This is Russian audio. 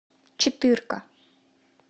четырка